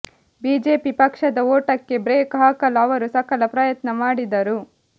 BJP ಪಕ್ಷದ ಓಟಕ್ಕೆ brake ಹಾಕಲು ಅವರು ಸಕಲ ಪ್ರಯತ್ನ ಮಾಡಿದರು